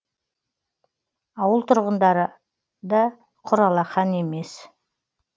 ауыл тұрғындары да құр алақан емес